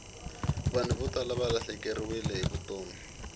vanhu vo tala valahlekeriwile hi vutomi